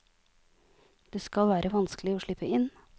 Det skal være vanskelig å slippe inn.